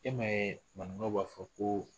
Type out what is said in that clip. E ma ye manigaw b'a fɔ ko